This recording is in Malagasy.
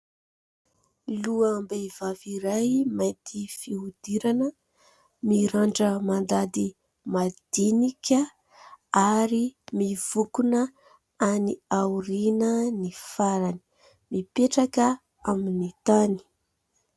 Loham-behivavy iray mainty fihodirana, mirandrana mandady madinika ary mivokona any aoriana ny farany, mipetraka amin'ny tany.